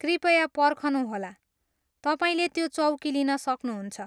कृपया पर्खनुहोला, तपाईँले त्यो चौकी लिन सक्नुहुन्छ।